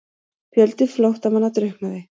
Fjöldi flóttamanna drukknaði